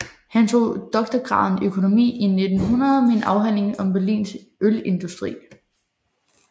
Han tog doktorgraden i økonomi i 1900 med en afhandling om Berlins ølindustri